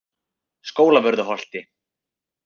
Skólavörðuholti